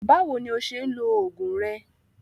Báwo ni ó ṣe ń lo oògùn rẹ?